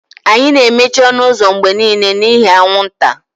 Anyị na-emechi ọnụ ụzọ mgbe niile n'ihi anwụnta.